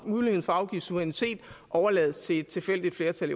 muligheden for at afgive suverænitet overlades til et tilfældigt flertal